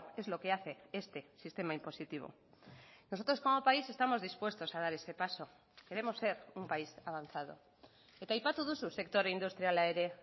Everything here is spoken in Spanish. es lo que hace este sistema impositivo nosotros como país estamos dispuestos a dar ese paso queremos ser un país avanzado eta aipatu duzu sektore industriala ere